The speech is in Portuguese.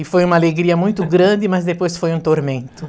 E foi uma alegria muito grande, mas depois foi um tormento.